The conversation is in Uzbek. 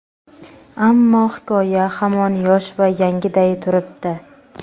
Ammo hikoya hamon yosh va yangiday turibdi.